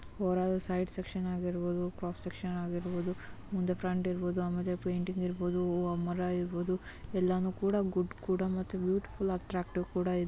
ವರೆಗೆ side section ಆಗಿರಬಹುದು cross section ಆಗಿರಬಹುದು ಮುಂದೆ ಫ್ರಂಟ್ ಇರಬಹುದು ಆಮೇಲೆ ಪೈಂಟಿಂಗ್ ಇರಬಹುದು ಮರ ಇರಬಹುದು ಎಲ್ಲಾನು ಕೂಡ ಗುಡ್ ಕೂಡ ಮತ್ತೆ ಬ್ಯೂಟಿಫುಲ್ ಅಟ್ಟ್ರಾಕ್ಟಿವ್ ಕೂಡ --